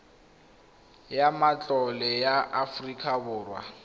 ya matlole ya aforika borwa